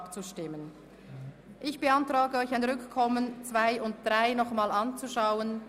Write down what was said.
Ich beantrage Ihnen ein Rückkommen auf die Anträge 2 und 3, um diese noch einmal anzuschauen.